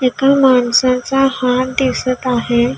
एका माणसाचा हात दिसत आहे.